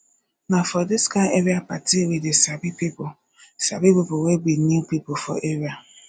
na for dis kain area party we dey sabi pipo sabi pipo wey be new pipo for area